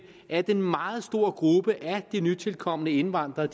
at en meget stor gruppe af de nytilkomne indvandrere